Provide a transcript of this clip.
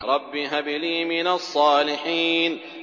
رَبِّ هَبْ لِي مِنَ الصَّالِحِينَ